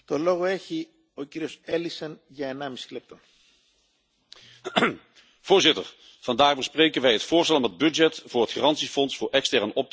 Voorzitter, vandaag bespreken wij het voorstel om het budget voor het garantiefonds voor extern optreden te verhogen. Daarbij wordt ook het financieel beheer van het fonds aan de Commissie overgedragen.